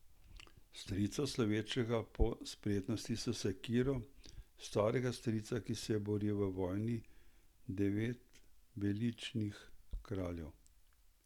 Strica, slovečega po spretnosti s sekiro, starega strica, ki se je boril v vojni Devetbeličnih kraljev.